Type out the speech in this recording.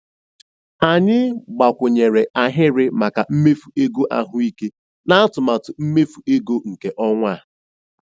Anyị gbakwunyere ahịrị maka mmefu ego ahụike n'atụmatụ mmefu ego nke ọnwa a.